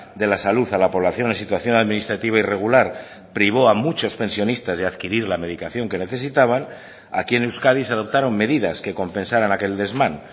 de la salud a la población en situación administrativa irregular privó a muchos pensionistas de adquirir la medicación que necesitaban aquí en euskadi se adoptaron medidas que compensaran aquel desmán